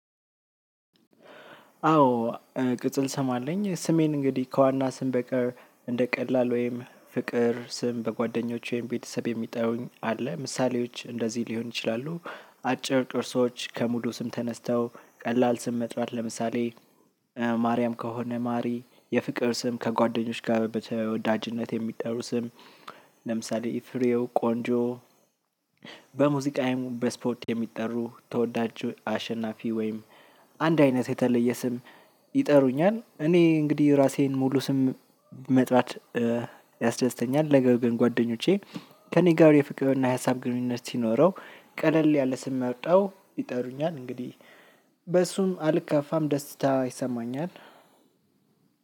አዎ ቅጽል ስም አለኝ ስሜን እንግዲህ ከዋና ስም በቀር እንደ ቀላል ወይም ፍቅር ስም በጓደኞቼ ወይም ቤተሰብ የሚጠሩኝ አለ ምሳሌዎች እንደዚህ ሊሆን ይችላሉ። አጭር ቅርሶች ከሙሉ ስም ተነስተው ቀላል ስም መጥራት ለምሳሌ። ማርያም ከሆነ ማሪ የፍቅር ስም ከጓደኞች ጋር በተወዳጅነት የሚጠሩ ስም። ለምሳሌ ፍሬው ቆንጆ። በሙዚቃዬም በስፖት የሚጠሩ ተወዳጁ አሸናፊ ወይም። አንድ አይነት የተለየ ስም። ይጠሩኛል እኔ እንግዲህ ራሴን ሙሉ ስም መጥራት ያስደስተኛል። ነገር ግን ጓደኞቼ ከእኔ ጋር የፍቅር እና የሀሳብ ግንኙነት ሲኖረው ቀለል ያለ ስም መርጠው ይጠሩኛል እንግዲህ። በሱም አልከፋም ደስታ ይሰማኛል።